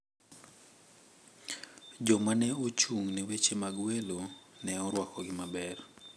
Jomane ochung` ne weche mag welo ne orwakogi maber.